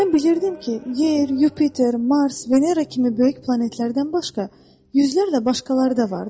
Mən bilirdim ki, yer, Yupiter, Mars, Venera kimi böyük planetlərdən başqa, yüzlərlə başqaları da vardır.